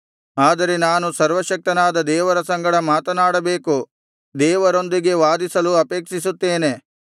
ಆದರೆ ನಾನು ಸರ್ವಶಕ್ತನಾದ ದೇವರ ಸಂಗಡ ಮಾತನಾಡಬೇಕು ದೇವರೊಂದಿಗೆ ವಾದಿಸಲು ಅಪೇಕ್ಷಿಸುತ್ತೇನೆ